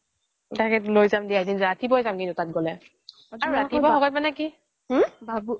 তাকে লৈ যাম দিয়া তাত এদিন কিন্তু ৰাতিপুৱাই যাম তাত গলে